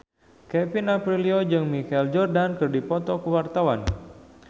Kevin Aprilio jeung Michael Jordan keur dipoto ku wartawan